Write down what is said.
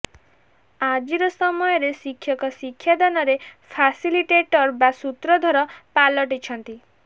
ଆଜିର ସମୟରେ ଶିକ୍ଷକ ଶିକ୍ଷାଦାନରେ ଫାସିଲିଟେଟର୍ ବା ସୂତ୍ରଧର ପାଲଟିଛନ୍ତି